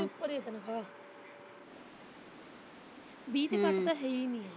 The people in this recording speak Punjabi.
ਵੀਹ ਹਜ਼ਾਰ ਤੋਂ ਉੱਪਰ ਉੱਪਰ ਐ ਵੀਹ ਤੋ ਘੱਟ ਤਾਂ ਹੈ ਈ ਨੀ।